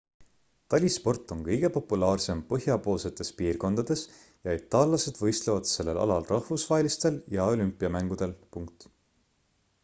talisport on kõige populaarsem põhjapoolsetes piirkondades ja itaallased võistlevad sellel alal rahvusvahelistel ja olümpiamängudel